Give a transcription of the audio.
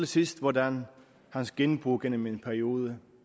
sidst hvordan hans genbo igennem en periode